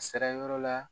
A sera yɔrɔ la